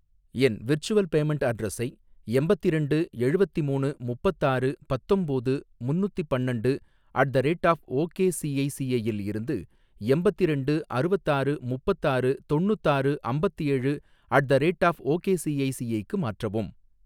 என் virtual payment அட்ரஸை எம்பத்திரெண்டு எழுவத்திமூணு முப்பத்தாறு பத்தொம்போது முன்னுதிபன்னண்டு at the rate of ok ICICI இல் இருந்து எம்பத்திரெண்டு அறுவத்தாறு முப்பத்தாறு தொண்ணுத்தாறு அம்பத்தேழு ஏழு at the rate of ok ICICI க்கு மாற்றவும்.